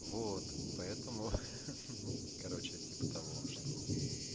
вот поэтому ну короче типа того что